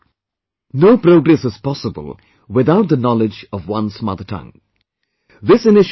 That means, no progress is possible without the knowledge of one's mother tongue